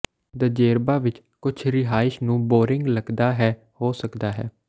Djerba ਵਿੱਚ ਕੁਝ ਰਿਹਾਇਸ਼ ਨੂੰ ਬੋਰਿੰਗ ਲੱਗਦਾ ਹੈ ਹੋ ਸਕਦਾ ਹੈ